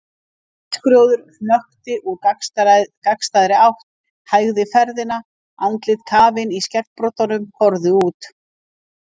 Bílskrjóður hökti úr gagnstæðri átt, hægði ferðina, andlit kafin í skeggbroddum horfðu út.